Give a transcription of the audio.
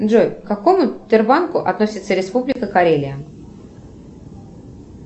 джой к какому сбербанку относится республика карелия